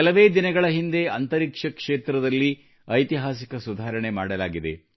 ಕೆಲವೇ ದಿನಗಳ ಹಿಂದೆ ಅಂತರಿಕ್ಷ ಕ್ಷೇತ್ರದಲ್ಲಿ ಐತಿಹಾಸಿಕ ಸುಧಾರಣೆ ಮಾಡಲಾಗಿದೆ